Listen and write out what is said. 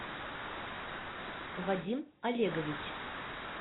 вадим олегович